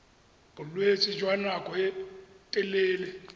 bolwetse jwa nako e telele